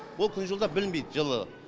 бұл күн жылыда білінбейді жылы